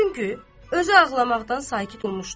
Çünki özü ağlamaqdan sakit olmuşdu.